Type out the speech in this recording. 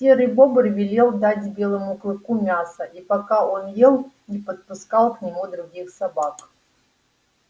серый бобр велел дать белому клыку мяса и пока он ел не подпускал к нему других собак